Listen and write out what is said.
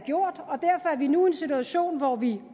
gjort og derfor er vi nu i en situation hvor vi